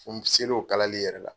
N selen o kalali yɛrɛ la.